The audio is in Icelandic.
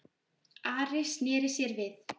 Ari sneri sér við.